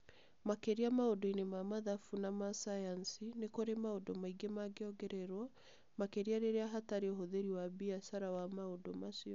Makĩria maũndũ-inĩ ma mathabu na ma sayansi, nĩ kũrĩ maũndũ maingĩ mangĩongererũo, makĩria rĩrĩa hatarĩ ũhũthĩri wa biacara wa maũndũ macio.